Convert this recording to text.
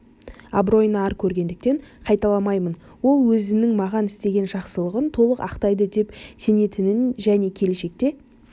абыройына ар көргендіктен қайталамаймын ол өзінің маған істеген жақсылығын толық ақтайды деп сенетінін және келешекте